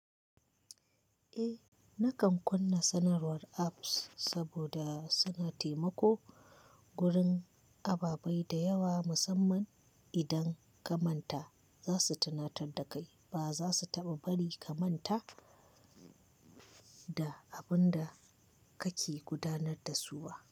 Eh, nakan kunna sanarwar apps saboda suna taimako gurin ababai da yawa, musamman idan ka manta za su tunatar da kai ba za su taɓa bari ka manta da abun da kake gudanar da su wa.